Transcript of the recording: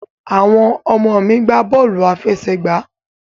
Àwọn ọmọ mi gbà bọ́ọ́lù aláfẹsẹ̀gbá